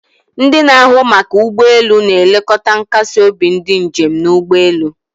Ndị na-ahụ maka ụgbọ elu na-elekọta nkasi obi ndị njem n'ụgbọelu